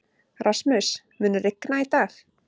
Rasmus, mun rigna í dag?